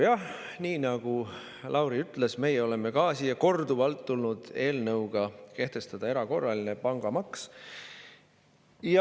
Jah, nii nagu Lauri ütles, ka meie oleme siia korduvalt tulnud eelnõuga, et kehtestataks erakorraline pangamaks.